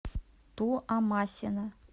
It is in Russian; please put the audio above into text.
туамасина